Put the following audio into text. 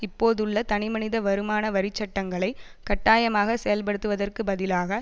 இப்போதுள்ள தனி மனித வருமான வரி சட்டங்களை கட்டாயமாக செயல்படுத்துவதற்கு பதிலாக